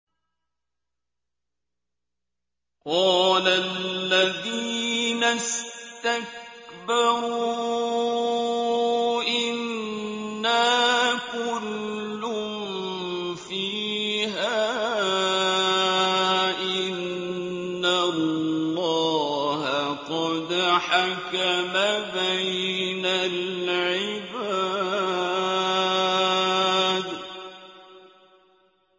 قَالَ الَّذِينَ اسْتَكْبَرُوا إِنَّا كُلٌّ فِيهَا إِنَّ اللَّهَ قَدْ حَكَمَ بَيْنَ الْعِبَادِ